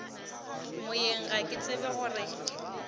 moyeng ga ke tsebe gore